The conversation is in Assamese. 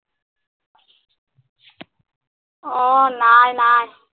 অ নাই নাই